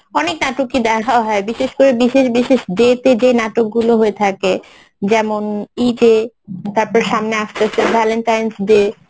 অনেক নাটকই দেখা হয় বিশেষ করে বিশেষ বিশেষ day তে যে নাটকগুলো হয়ে থাকে যেমন ঈদে তারপর সামনে আসতেছে valentines day